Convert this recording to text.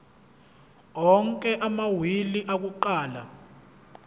onke amawili akuqala